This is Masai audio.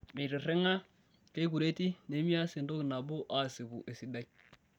Meitirring'a, keikureti nemeas entoki nabo aasipu esidai.